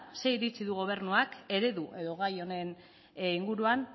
zein iritzi du gobernuak eredu edo gai honen inguruan